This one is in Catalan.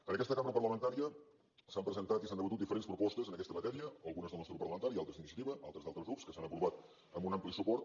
en aquesta cambra parlamentària s’han presentat i s’han debatut diferents propostes en aquesta matèria algunes del nostre grup parlamentari i altres d’iniciativa altres d’altres grups que s’han aprovat amb un ampli suport